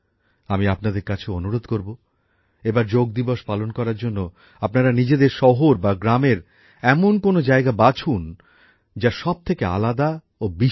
আমি আপনাদের কাছেও অনুরোধ করব এবার যোগ দিবস পালন করার জন্য আপনারা নিজেদের শহর বা গ্রামের এমন কোন জায়গা বাছুন যা সবথেকে আলাদা ও অনন্য